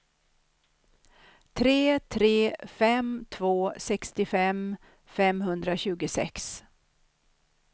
tre tre fem två sextiofem femhundratjugosex